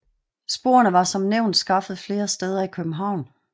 Sporene var som nævnt skaffet flere steder i København